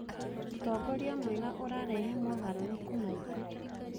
Ũtongoria mwega ũrarehe mogarũrũku maingĩ.